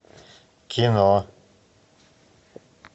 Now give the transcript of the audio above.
кино